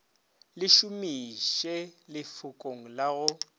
le šomiše lefokong la go